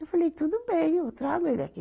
Eu falei, tudo bem, eu trago ele aqui.